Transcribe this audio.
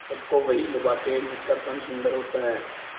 सबको वही लुभाते हैं जिनका तन सुंदर होता है